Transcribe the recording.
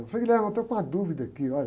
ô frei, eu estou com uma dúvida aqui, olha.